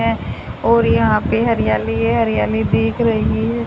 हैं और यहां पे हरियाली है हरियाली दिख रही है।